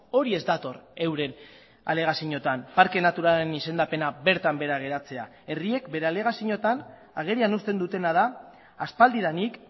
hori ez dator euren alegazioetan parke naturalaren izendapena bertan behera geratzea herriek bere alegazioetan agerian uzten dutena da aspaldidanik